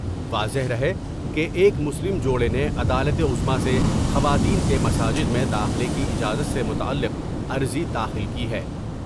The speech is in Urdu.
واضح رہے کہ ایک مسلم جوڑے نے عدالت عظمی سے خواتین کے مساجد میں داخلے کی اجازت سے متعلق عرضی داخل کی ہے ۔